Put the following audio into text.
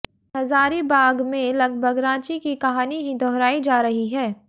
हजारीबाग में लगभग रांची की कहानी ही दोहरायी जा रही है